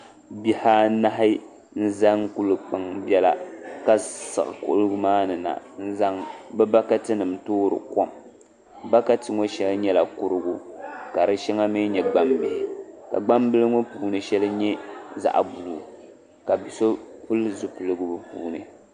Bihi anahi n zani kuli kpaŋ biɛla ka siɣi kuligi maa ni na n zaŋ bi bakati nim toori kom bokati ŋo shɛli nyɛla kurigu ka di shɛŋa mii nyɛ gbambihi ka gbambili ŋo puuni shɛli nyɛ zaɣ buluu ka so pili zipiligu o zuɣuni